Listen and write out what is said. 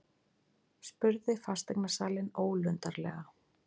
spurði fasteignasalinn ólundarlega.